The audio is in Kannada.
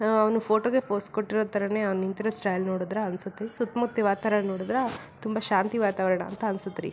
ಆಹ್ಹ್ ಅವ್ನು ಫೋಟೋಗೆ ಫೋಸ್ ಕೊಟ್ಟಿರೋ ತರಾನೇ ಅವ್ನ್ ನಿಂತಿರೋ ಸ್ಟೈಲ್ ನೋಡಿದ್ರ ಅನ್ಸುತ್ತೆ ಸುತ್ ಮುತ್ತ ವಾತಾವರಣ ನೋಡಿದ್ರೆ ತುಂಬಾ ಶಾಂತ ವಾತಾವರಣ ಅನ್ಸುತ್ತೆ.